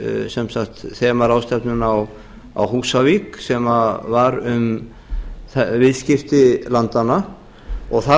sem sagt þemaráðstefnuna á húsavík sem var um viðskipti landanna og þar